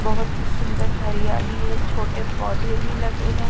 बहोत ही सुंदर हरियाली है छोटे पौधे भी लगे है।